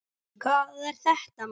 Hvað er þetta maður.